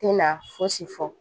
Tɛ na fosi fɔ